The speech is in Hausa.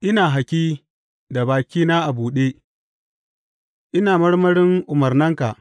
Ina hakkin da bakina a buɗe, ina marmarin umarnanka.